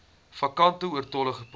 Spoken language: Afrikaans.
vakante oortollige poste